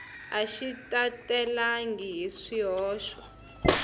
a xi talelangi hi swihoxo